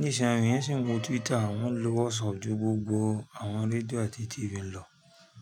Nísinsìnyí, wọ́n sì ń lo Twitter, wọ́n ń lo WhatsApp ju gbogbo àwọn rsdío àti TV lọ.